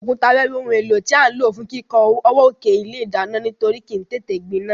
Òkúta wẹ́wẹ́ oun éló tí a n ló fún kíkó ọwọ́ òkè ilé ìdánán nítorí kìí tété gbinán